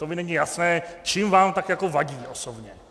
To mi není jasné, čím vám tak jako vadí osobně.